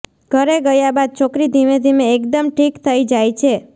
ઘરે ગયા બાદ છોકરી ધીમે ધીમે એકદમ ઠીક થઇ જાય છે